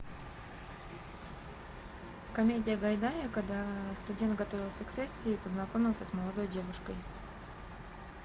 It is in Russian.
комедия гайдая когда студент готовился к сессии и познакомился с молодой девушкой